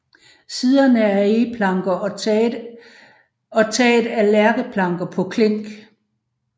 Siderne er egeplanker og taget er lærkeplanker på klink